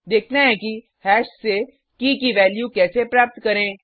देखते हैं कि हैश से की की वैल्यू कैसे प्राप्त करें